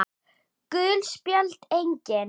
Gul spjöld: Engin.